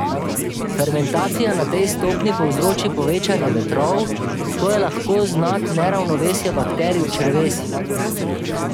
Fermentacija na tej stopnji povzroči povečanje vetrov, to je lahko znak neravnovesja bakterij v črevesju.